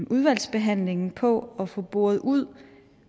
udvalgsbehandlingen på at få boret ud